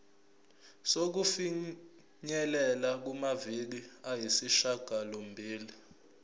sokufinyelela kumaviki ayisishagalombili